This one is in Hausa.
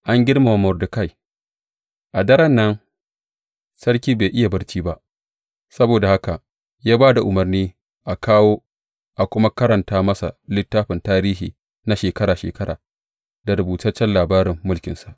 An girmama Mordekai A daren nan, sarki bai iya barci ba, saboda haka ya ba da umarni a kawo, a kuma karanta masa littafin tarihi na shekara shekara, da rubutaccen labarin mulkinsa.